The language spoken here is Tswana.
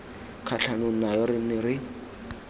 kgatlhanong nayo re ne re